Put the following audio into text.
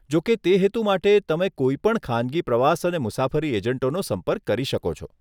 જો કે, તે હેતુ માટે, તમે કોઈપણ ખાનગી પ્રવાસ અને મુસાફરી એજન્ટોનો સંપર્ક કરી શકો છો.